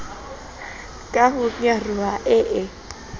ka ho nyaroha e e